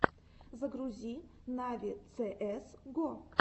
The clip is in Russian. загрузи нави цээс го